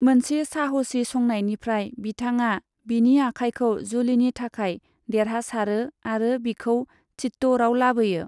मोनसे साहसि संनायनिफ्राय, बिथांआ बिनि आखाइखौ जुलिनि थाखाय देरहासारो आरो बिखौ चित्तौड़आव लाबोयो।